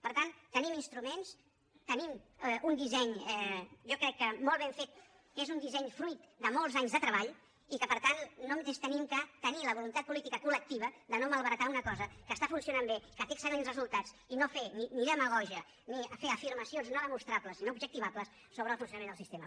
per tant tenim instruments tenim un disseny jo crec que molt ben fet que és un disseny fruit de molts anys de treball i que per tant només hem de tenir la voluntat política col·lectiva de no malbaratar una cosa que està funcionant bé que té excel·lents resultats i no fer ni demagògia ni fer afirmacions no demostrables sinó objectivables sobre el funcionament del sistema